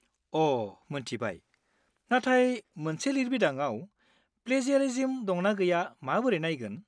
अ' मोन्थिबाय! नाथाय मोनसे लिरबिदांआव प्लेजियारिज्म दंना गैया माबोरै नायगोन?